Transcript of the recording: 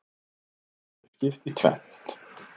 Honum verður skipt í tvennt.